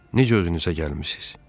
Necə özünüzə gəlmisiz?